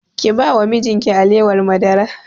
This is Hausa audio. Ki ba wa mijin ki alewar madara!